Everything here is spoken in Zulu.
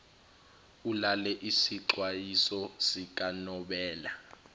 ulalele isixwayiso sikanobela